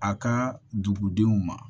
A ka dugudenw ma